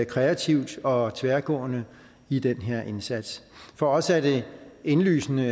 kreativt og tværgående i den her indsats for os er det indlysende